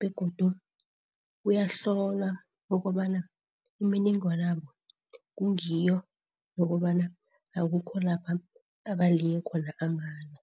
Begodu uyahlolwa ukobana imininingwana yabo kungiyo nokobana akukho lapha abaliye khona amala.